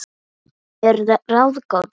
Það er mér ráðgáta